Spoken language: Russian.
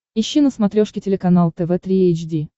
ищи на смотрешке телеканал тв три эйч ди